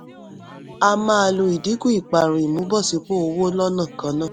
a máa lo ìdínkù ìparun ìmúbọ̀sípò owó lọ́nà kan náà.